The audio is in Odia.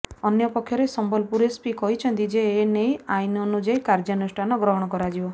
ଅନ୍ୟପକ୍ଷରେ ସମ୍ବଲପୁର ଏସ୍ପି କହିଛନ୍ତି ଯେ ଏନେଇ ଆଇନ ଅନୁଯାୟୀ କାର୍ଯ୍ୟାନୁଷ୍ଠାନ ଗ୍ରହଣ କରାଯିବ